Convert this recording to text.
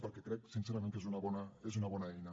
perquè crec sincerament que és una bona eina